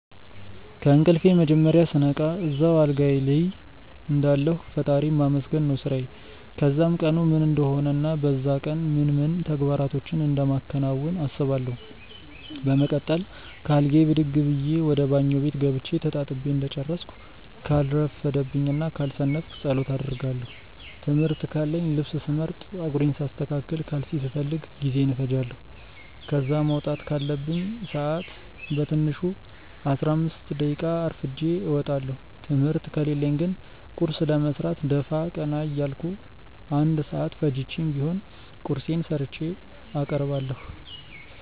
ከእንቅልፌ መጀመርያ ስነቃ እዛው አልጋዬ ልይ እንዳለሁ ፈጣሪን ማመስገን ነው ስራዬ። ከዛም ቀኑ ምን እንደሆነ እና በዛ ቀን ምን ምን ተግባራቶችን እንደማከናውን አስባለው። በመቀጠል ከአልጋዬ ብድግ ብዬ ወደ ባኞ ቤት ገብቼ ተጣጥቤ እንደጨረስኩ ካልረፈደብኝ እና ካልሰነፍኩ ጸሎት አደርጋለው። ትምህርት ካለኝ ልብስ ስመርጥ፣ ጸጉሬን ሳስተካክል፣ ካልሲ ስፈልግ ጊዜዬን እፈጃለው። ከዛ መውጣት ካለብኝ ሰአት በትንሹ 15 ደቂቃ አርፍጄ እወጣለው። ትምህርት ከሌለኝ ግን ቁርስ ለመስራት ደፋ ቀና እያልኩ 1 ሰአት ፈጅቼም ቢሆን ቁርሴን ሰርቼ አቀርባለሁ።